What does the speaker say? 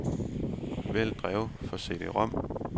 Vælg drev for cd-rom.